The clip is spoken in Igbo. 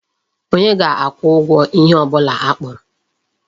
Onye ga-akwụ ụgwọ ihe ọ bụla akpụrụ?